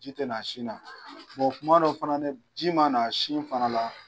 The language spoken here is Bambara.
Ji tɛ na sina, kuma dɔ fana nin, ji ma na sina fana la.